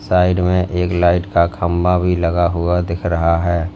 Side में एक light का खंबा भी लगा हुआ दिख रहा है।